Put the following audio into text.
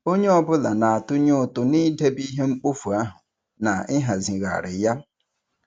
Onye ọ bụla na-atụnye ụtụ n'idebe ihe mkpofu ahụ na ịhazigharị ya.